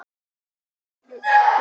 Lúsin hefur valdið miklu tjóni.